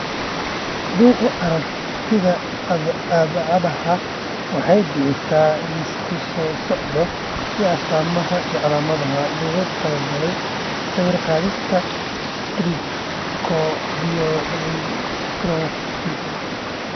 Bugga Aaragtiyaha Aadaha waxay bixisaa liiska soo socda ee astamaha iyo calaamadaha loogu talagalay sawir-qaadista Trichothiodystrophy.